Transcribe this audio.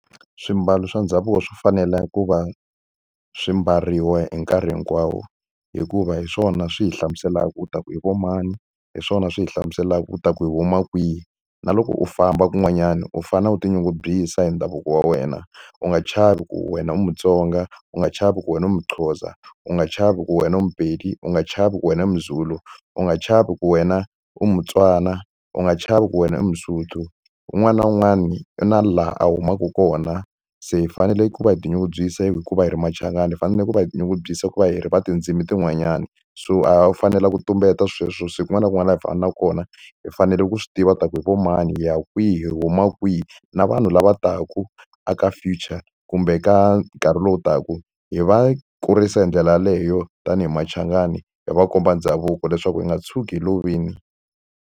Swimbalo swa ndhavuko swo fanela ku va swi mbariwa hi nkarhi hinkwawo. Hikuva hi swona swi hi hlamuselaka u ta ku hi va mani, hi swona swi hi hlamuselaka u ta ku hi huma kwihi. Na loko u famba kun'wanyana u fanele u tinyungubyisa hi ndhavuko wa wena. U nga chavi ku wena u Mutsonga, u nga chavi ku wena u muXhosa, u nga chavi ku wena u muPedi, u nga chavi ku wena i muZulu, u nga chavi ku wena u muTswana, u nga chavi ku wena i muSotho. Un'wana na un'wana u na laha a humaka kona. Se hi fanele ku va hi tinyungubyisa hi ku va hi ri machangani, hi fanele ku va hi tinyungubyisa ku va hi ri va tindzimi tin'wanyana. So a hi fanelanga ku tumbeta sweswo se kun'wana na kun'wana laha hi na kona, hi fanele ku swi tiva ku hi vo mani, hi ya kwihi, hi huma kwihi. Na vanhu lava taka aka future kumbe ka nkarhi lowu taka hi va kurisa hi ndlela yaleyo tanihi machangani, hi va komba ndhavuko leswaku hi nga tshuki hi lovile.